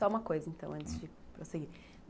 Só uma coisa, então, hum, antes de prosseguir.